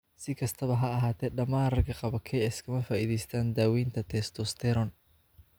Si kastaba ha ahaatee, dhammaan ragga qaba KS kama faa'iidaystaan ​​daaweynta testosterone.